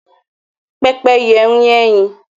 Pẹ́pẹ́yẹ ń yé ẹyin.